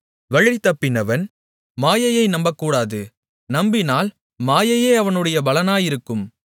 வழிதப்பினவன் மாயையை நம்பக்கூடாது நம்பினால் மாயையே அவனுடைய பலனாயிருக்கும்